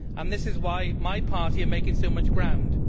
This is why my party is making so much ground.